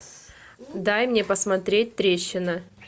дай мне посмотреть трещина